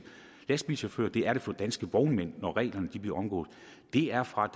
lastbilchauffører det er der for danske vognmænd når reglerne bliver omgået er fra